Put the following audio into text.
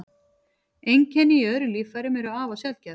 Einkenni í öðrum líffærum eru afar sjaldgæf.